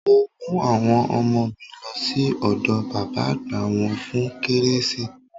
Mo mú àwọn ọmọ mi lọ sí ọ̀dọ̀ bàbá àgbà wọ́n fún kérésì.